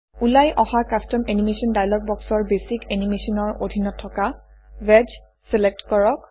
ওলাই অহা custom animation dialog বক্সৰ বেচিক এনিমেশ্যন ৰ অধীনত থকা ৱেডজ চিলেক্ট কৰক